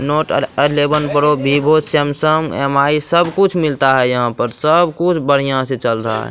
Note और eleven pro Vivo Samsung MI. सब कुछ मिलता है यहाँ पर सब कुछ बढ़िया से चल रहा है।